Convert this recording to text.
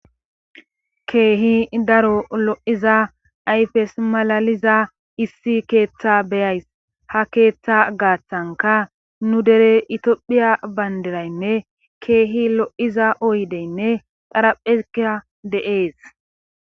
Keehi daro lo'iza ayfes malaliza issi keeththa beyays ha keeththa gaaththanka nu dere itiophphiya bayndiraynne keehi lo'iza oydeynne xaraphphezika de'ees